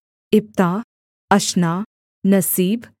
इप्ताह अश्ना नसीब